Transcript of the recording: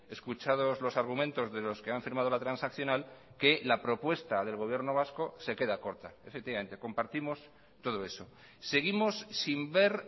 escuchados los argumentos de los que han firmado la transaccional que la propuesta del gobierno vasco se queda corta efectivamente compartimos todo eso seguimos sin ver